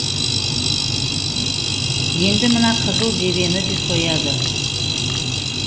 енді мына қызыл жебені де сояды